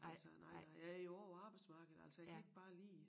Altså nej nej jeg jo også på arbejdsmarkedet altså jeg kan ikke bare lige